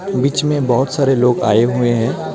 बीच में बोहोत सारे लोग आये हुए हैं.